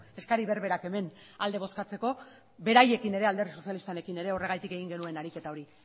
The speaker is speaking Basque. eskari berberak hemen alde bozkatzeko beraiekin ere alderdi sozialistarekin ere horregatik egin genuen ariketa hori